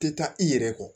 Tɛ taa i yɛrɛ kɔ